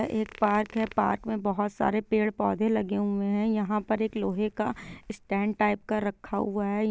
यह एक पार्क है पार्क मे बहुत सारे पेड़ - पौधे लगे हुए है यहाँ पर एक लोहे का स्टैन्ड टाइप का रखा हूआ है।